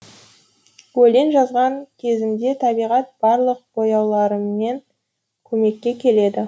өлең жазған кезімде табиғат барлық бояуларымен көмекке келеді